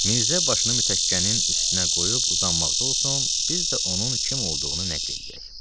Mirzə başını mütəkkənin üstünə qoyub uzanmaqda olsun, biz də onun kim olduğunu nəql eləyək.